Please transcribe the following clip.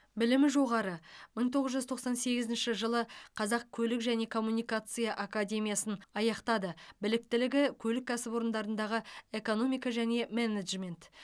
білімі жоғары мың тоғыз жүз тоқсан сегізінші жылы қазақ көлік және коммуникация академиясын аяқтады біліктігі көлік кәсіпорындарындағы экономика және менеджмент